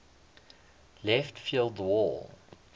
left field wall